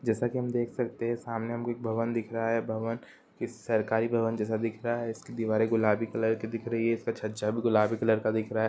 जैसा की हम देख सकते है सामने हम को एक भवन दिख रहा है| भवन की सरकारी भवन जैसा दिख रहा है| इसकी दीवारें गुलाबी कलर की दिख रही है| इसका छज्जा भी गुलाबी कलर का दिख रहा है।